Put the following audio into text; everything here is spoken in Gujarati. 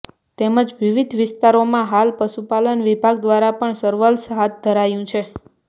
તેમજ વિવિધ વિસ્તારોમાં હાલ પશુપાલન વિભાગ દ્વારા પણ સર્વેલન્સ હાથ ધરાયું છે